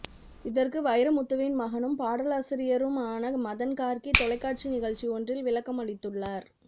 இதற்கு வைரமுத்துவின் மகனும் பாடலாசிரியரும் ஆன மதன் கார்க்கி தொலைக்காட்சி நிகழ்ச்சி ஒன்றில் விளக்கம் அளித்துள்ளார்